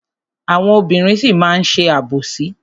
Àwọn obìnrin sì máa má ṣe àbòsí.